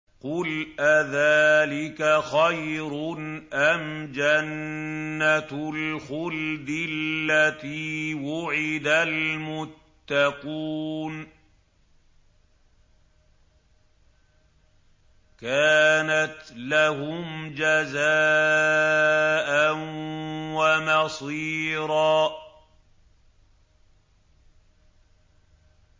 قُلْ أَذَٰلِكَ خَيْرٌ أَمْ جَنَّةُ الْخُلْدِ الَّتِي وُعِدَ الْمُتَّقُونَ ۚ كَانَتْ لَهُمْ جَزَاءً وَمَصِيرًا